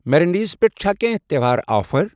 Marinades پٮ۪ٹھ چھا کینٛہہ تہٚوہار آفر؟